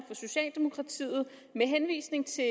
socialdemokratiet med henvisning til